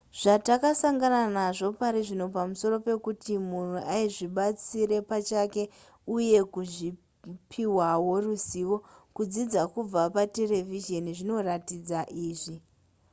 zvatasangana nazvo parizvino pamusoro pekuti munhu azvibatsire pachake uye kupihwa ruzivo kudzidza kubva paterevhizheni zvinoratidza izvi